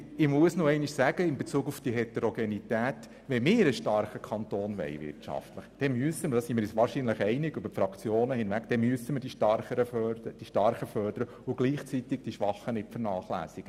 Nochmals zur Heterogenität: Wenn wir einen wirtschaftlich starken Kanton haben wollen, müssen wir die Starken fördern und gleichzeitig die Schwachen nicht vernachlässigen.